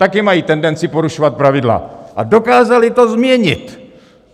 Také mají tendenci porušovat pravidla a dokázali to změnit.